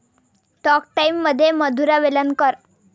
talk टाइममध्ये मधुरा वेलणकर